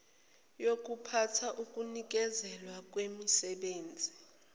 yokuphatha ukunikezelwa kwemisebenzi